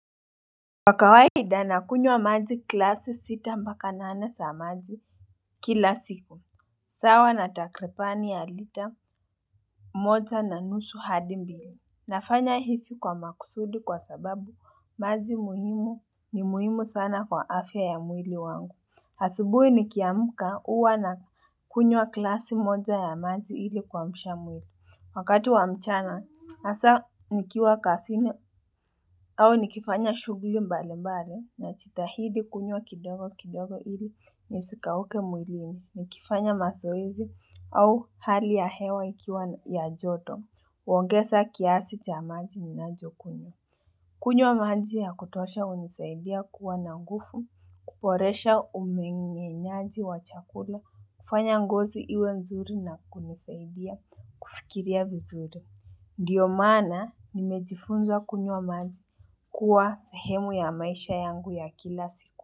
Kwa kawaida nakunywa maji glasi sita mpaka nane za maji kila siku, sawa na takribani ya lita Kwa kawaida nakunywa maji glasi sita mpaka nane za maji kila siku, sawa na takribani ya lita Wakati wa mchana, hasa nikiwa kazini au nikifanya shughuli mbali mbali najitahidi kunywa kidogo kidogo ili nisikauke mwilini nikifanya mazoezi au hali ya hewa ikiwa ya joto, huongeza kiasi cha maji ninayokunywa. Kunywa maji ya kutosha hunisaidia kuwa na nguvu, kuboresha umemenyaji wa chakula, kufanya ngozi iwe mzuri na kunisaidia kifikiria vizuri. Ndiyo maana nimejifunza kunywa maji Huwa sehemu ya maisha yangu ya kila siku.